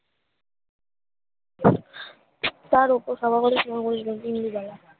তারপরে সবাবতোই শিমা বসবেন ইন্দুবালা